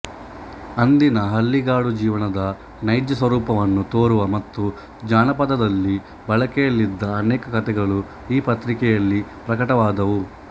ಅಂದಿನ ಹಳ್ಳಿಗಾಡು ಜೀವನದ ನೈಜಸ್ವರೂಪವನ್ನು ತೋರುವ ಮತ್ತು ಜಾನಪದದಲ್ಲಿ ಬಳಕೆಯಲ್ಲಿದ್ದ ಅನೇಕ ಕಥೆಗಳು ಈ ಪತ್ರಿಕೆಯಲ್ಲಿ ಪ್ರಕಟವಾದುವು